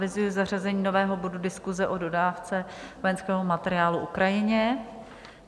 Avizuji zařazení nového bodu Diskuse o dodávce vojenského materiálu Ukrajině.